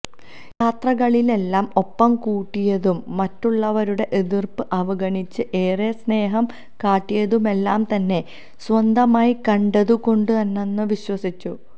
യാത്രകളിലെല്ലാം ഒപ്പം കൂട്ടിയതും മറ്റുള്ളവരുടെ എതിര്പ്പ് അവഗണിച്ച് ഏറെ സ്നേഹം കാട്ടിയതുമെല്ലാം തന്നെ സ്വന്തമായി കണ്ടതുകൊണ്ടാണെന്നും വിശ്വസിച്ചു